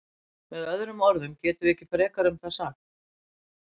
Með öðrum orðum getum við ekkert frekar um það sagt.